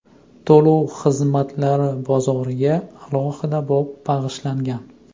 To‘lov xizmatlari bozoriga alohida bob bag‘ishlangan.